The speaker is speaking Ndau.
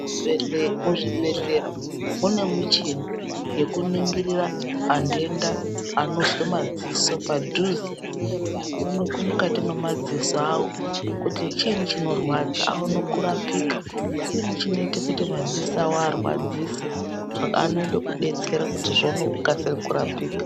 Bhedhle muzvibhedhlera mune muchini yekuningira antenda anozwa madziso padhuze aonekwe mukati mwrmadziso awo kuti chiini chinorwadza aone kurapika chiini chinoiite kuti madziso awo arwadzise anoite kudetsera kuti zviono kukasire kurapika.